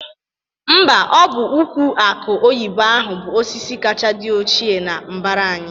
Mba, ọ bụ ụkwụ akụ oyibo ahụ bụ osisi kacha dị ochie n'mbara anyị